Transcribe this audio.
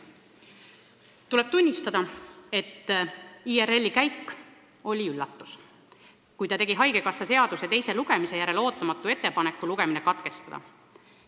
Tuleb tunnistada, et IRL-i käik oli üllatus, kui ta tegi haigekassa seaduse muutmise eelnõu teise lugemise ajal ootamatu ettepaneku lugemine katkestada.